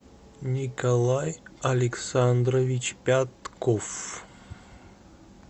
николай александрович пятков